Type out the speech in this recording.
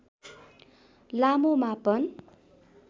लामो मापन